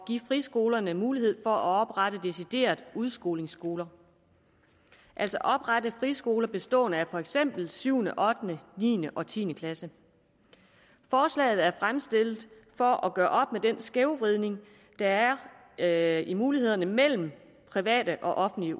friskolerne mulighed for at oprette deciderede udskolingsskoler altså oprette friskoler bestående af for eksempel 7 8 niende og tiende klasse forslaget er fremsat for at gøre op med den skævvridning der er i mulighederne mellem private og offentlige